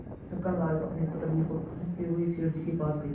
छक्कनलाल अपनी तकदीर को ठोंकते हुए सेठ जी के पास गये